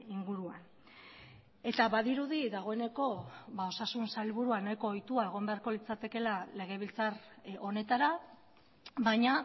inguruan eta badirudi dagoeneko osasun sailburua nahiko ohitua egon beharko litzatekeela legebiltzar honetara baina